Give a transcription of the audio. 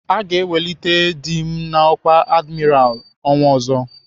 Aga ewelite dị m n'ọkwá adimiralụ ọnwa ọzọ.